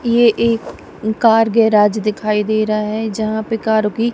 ये एक car garage दिखाई दे रहा है जहां पे कारों की--